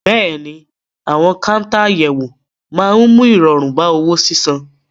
Bẹ́ẹ̀ ni, àwọn káńtà àyẹ̀wò máa ń mú ìrọ̀rùn bá owó sísan.